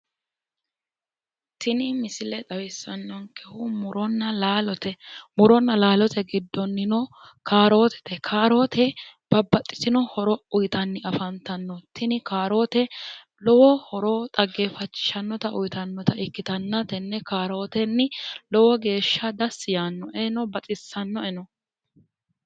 Tini misile xawissannonkehu muronna laalote. Muronna laalote giddonnino kaarootete. Kaaroote babbaxxitino horo uyitanni afantanno. Tini kaaroote lowo horo dhaggeeffachishshannota uyitannota ikkitanna tenne kaarootenni lowo geeshsha dassi yaannoe. Baxisannowleno.